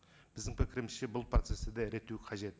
біздің пікірімізше бұл процессті де реттеу қажет